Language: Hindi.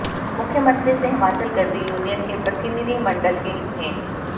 मुख्यमंत्री से हिमाचल गद्दी यूनियन के प्रतिनिधिमण्डल की भेंट